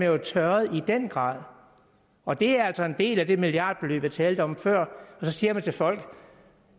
jo tørret i den grad og det er altså en del af det milliardbeløb jeg talte om før og så siger man til folk